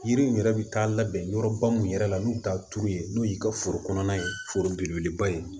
Yiriw yɛrɛ bɛ taa labɛn yɔrɔba min yɛrɛ la n'u t'a turu yen n'u y'i ka foro kɔnɔna ye foro belebeleba ye